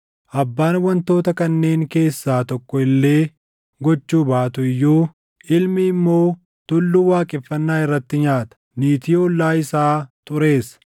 abbaan wantoota kanneen keessaa tokko illee gochuu baatu iyyuu, “Ilmi immoo tulluu waaqeffannaa irratti nyaata. Niitii ollaa isaa xureessa.